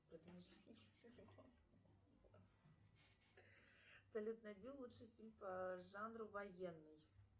салют найди лучший фильм по жанру военный